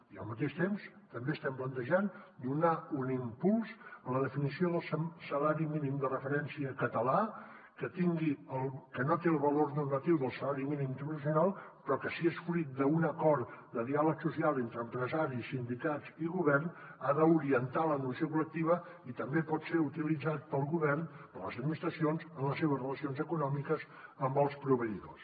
i al mateix temps també estem plantejant donar un impuls a la definició del salari mínim de referència català que no té el valor normatiu del salari mínim interprofessional però que si és fruit d’un acord de diàleg social entre empresaris sindicats i govern ha d’orientar l’evolució col·lectiva i també pot ser utilitzat pel govern per les administracions en les seves relacions econòmiques amb els proveïdors